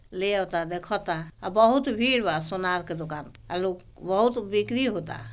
ले ओता देखता बोहोत भीड़ बा सोनार की दुकान आलो बोहोत बिक्री होता।